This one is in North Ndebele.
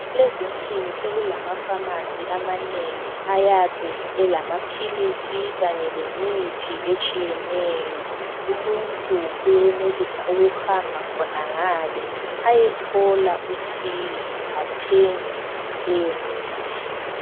Kulezinsuku sekulamafamasi amanengi ayabe elamaphilisi kanye lemithi etshiyeneyo. Umuntu uyenelisa ukuhamba khonangale ayethola usizo athenge leyomithi.